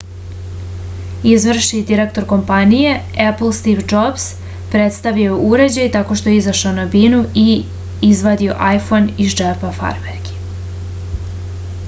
izvršni direktor kompanije epl stiv džobs predstavio je uređaj tako što je izašao na binu i izvadio ajfon iz džepa farmerki